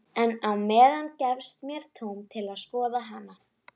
En á meðan gefst mér tóm til að skoða hana.